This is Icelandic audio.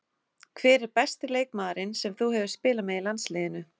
Hver er besti leikmaðurinn sem þú hefur spilað með í landsliðinu?